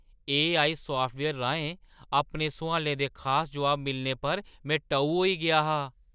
AI software राहें अपने सोआलें दे खास जवाब मिलने पर में टऊ होई गेआ हा।